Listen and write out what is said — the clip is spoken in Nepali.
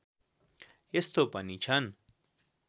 यस्तो पनि छन्